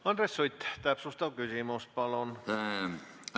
Andres Sutt, täpsustav küsimus, palun!